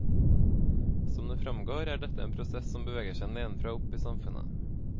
Som det framgår, er dette en prosess som beveger seg nedenfra og opp i samfunnet.